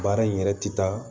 Baara in yɛrɛ ti taa